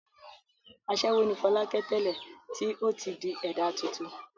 Aṣẹ́wó ni Fọlákẹ́ tẹ́lẹ̀ tí ó ti di ẹ̀dá tuntun.